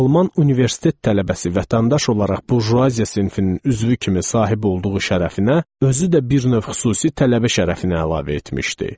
Alman universitet tələbəsi vətəndaş olaraq burjuaziya sinfinin üzvü kimi sahib olduğu şərəfinə özü də bir növ xüsusi tələbə şərəfini əlavə etmişdi.